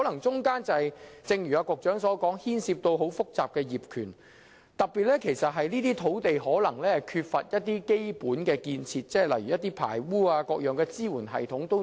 正如局長所說，當中可能牽涉很多複雜的業權問題，又例如有關土地可能缺乏基本建設，難以裝設排污系統等。